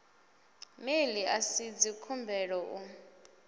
mail a si dzikhumbelo u